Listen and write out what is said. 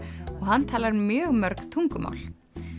og hann talar mjög mörg tungumál